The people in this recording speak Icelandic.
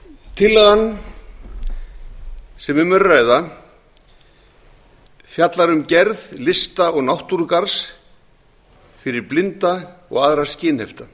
tillagan sem um er að ræða fjallar um gerð lista og náttúrugarðs fyrir blinda og aðra